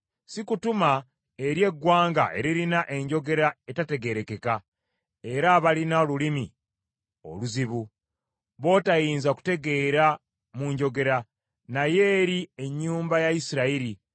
Sikutuma eri eggwanga eririna enjogera etategeerekeka era abalina olulimi oluzibu, b’otayinza kutegeera mu njogera, naye eri ennyumba ya Isirayiri,